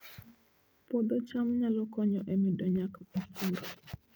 Puodho cham nyalo konyo e medo nyak e pur